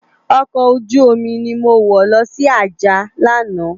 Òkò ójùómi ni mó wò lòsi Ajah làná